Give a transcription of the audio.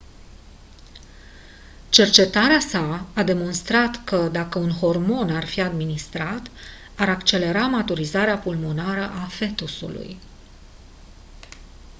cercetarea sa a demonstrat că dacă un hormon ar fi administrat ar accelera maturizarea pulmonară a fetusului